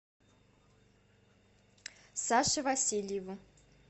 саше васильеву